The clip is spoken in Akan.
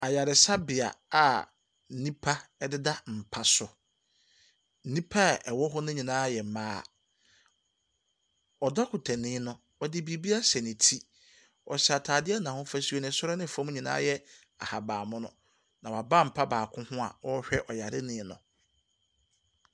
Yaaresabea a nnopa deda mpa so. Nnipa a ɛwɔ hɔ ne nyinaa yɛ mmaa. Ɔdɔkotani no, ɔde biribi ahyɛ ne ti. Ɔhyɛ ataadeɛ a n’ahofasuo no soro ne fam nyinaa yɛvahabanmono. Na waba mpa baako ho a ɔrehwɛ ɔyarefoɔ no.